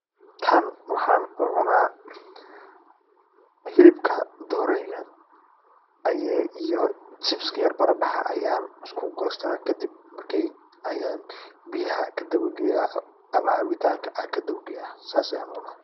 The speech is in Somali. Tan waxan u cuna, xilibka doreyda, ayay iyo chips baradaxa ayan iskugoysta kadib markay ayan biyaxa kadawa geya, ama cabitanka kadawa geya.